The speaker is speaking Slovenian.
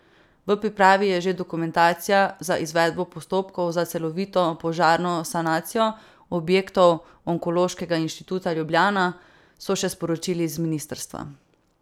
V pripravi je že dokumentacija za izvedbo postopkov za celovito požarno sanacijo objektov Onkološkega inštituta Ljubljana, so še sporočili z ministrstva.